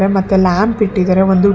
ಮತ್ತೆ ಲ್ಯಾಂಪ್ ಇಟ್ಟಿದಾರೆ ಒಂದು ಟಿ --